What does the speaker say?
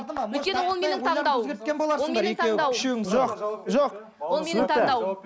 өйткені ол менің таңдауым боларсыңдар ол менің таңдауым жоқ жоқ ол менің таңдауым